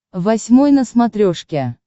восьмой на смотрешке